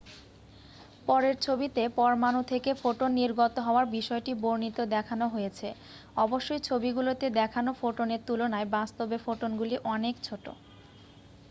পরের ছবিতে পরমাণু থেকে ফোটন নির্গত হওয়ার বিষয়টি বর্ণিত দেখানো হয়েছে অবশ্যই ছবিগুলিতে দেখানো ফোটনের তুলনায় বাস্তবে ফোটনগুলি অনেক ছোট